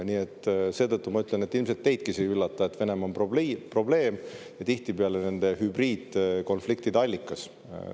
Nii et seetõttu ma ütlen, et ilmselt see teidki ei üllata, et Venemaa on probleem ja tihtipeale nende hübriidkonfliktide allikas.